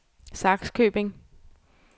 Sakskøbing